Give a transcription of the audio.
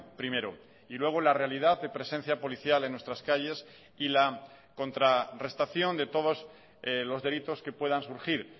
primero y luego la realidad de presencia policial en nuestras calles y la contrarrestación de todos los delitos que puedan surgir